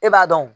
E b'a dɔn